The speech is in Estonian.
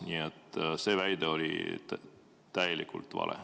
Nii et see väide oli täielikult vale.